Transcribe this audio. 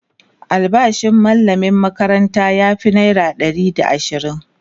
albashin mallaman makaranta ya Fi naira Ɗari da ashirin